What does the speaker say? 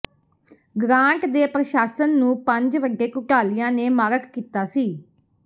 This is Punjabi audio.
ਗ੍ਰਾਂਟ ਦੇ ਪ੍ਰਸ਼ਾਸਨ ਨੂੰ ਪੰਜ ਵੱਡੇ ਘੁਟਾਲਿਆਂ ਨੇ ਮਾਰਕ ਕੀਤਾ ਸੀ